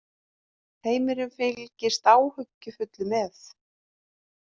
Heimurinn fylgist áhyggjufullur með